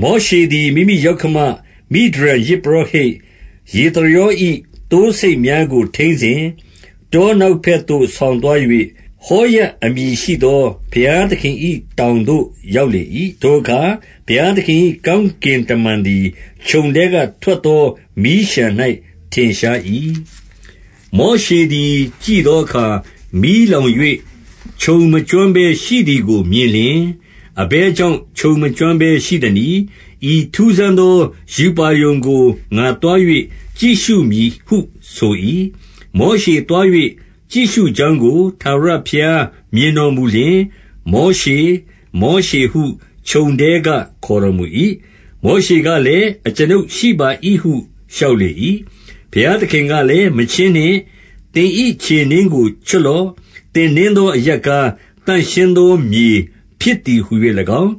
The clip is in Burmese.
မောရှေသည်၊ မိမိယောက္ခမ မိဒျန်ယဇ်ပုရောဟိတ် ယေသရော၏သိုးဆိတ်များကို ထိန်းစဉ်၊ တော နောက်ဘက်သို့ ဆောင်သွား၍၊ ဟောရပ်အမည်ရှိသော ဘုရားသခင်၏တောင်သို့ ရောက်လေ၏။ 2 ထိုအခါ ဘုရားသခင်၏ ကောင်းကင်တမန်သည် ချုံထဲကထွက်သော မီးလျှံ၌ထင်ရှား၏။ မောရှေသည် ကြည့်သောအခါ၊ မီးလောင်၍ ချုံမကျွမ်းဘဲ ရှိသည်ကို မြင်လျှင်၊ 3 အဘယ်ကြောင့် ချုံမကျွမ်းဘဲရှိသနည်း။ ဤထူးဆန်းသောရူပါရုံကို ငါသွား၍ကြည့်ရှုမည်ဟုဆို၏။ 4 မောရှေသွား၍ ကြည့်ရှုကြောင်းကို ထာဝရဘုရားမြင်တော်မူလျှင်၊ မောရှေ၊ မောရှေဟု ချုံထဲက ခေါ်တော်မူ၏။ မောရှေကလည်း၊ အကျွန်ုပ်ရှိပါ၏ဟု လျှောက်လေ၏။ 5 ဘုရားသခင်ကလည်း၊ မချဉ်းနှင့်။ သင်၏ခြေနင်းကို ချွတ်လော့။ သင်နင်းသော အရပ်ကား သန့်ရှင်းသော မြေဖြစ်သည်ဟူ၍၎င်း